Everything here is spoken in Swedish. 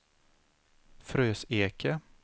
Fröseke